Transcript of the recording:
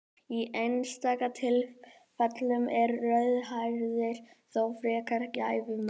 Í einstaka tilfellum eru rauðhærðir þó frekar gæfumerki.